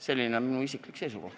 Selline on minu isiklik seisukoht.